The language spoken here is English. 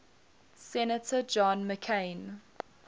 senator john mccain